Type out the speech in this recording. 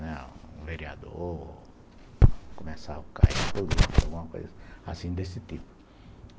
Né, um vereador, começar a cair em política, alguma coisa assim desse tipo.